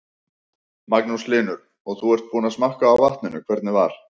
Magnús Hlynur: Og þú ert búinn að smakka á vatninu, hvernig var?